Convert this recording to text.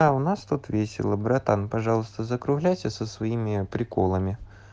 а у нас тут весело братан пожалуйста закругляйся со своими приколами